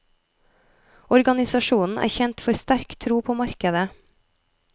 Organisasjonen er kjent for sterk tro på markedet.